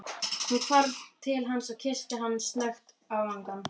Hún hvarf til hans og kyssti hann snöggt á vangann.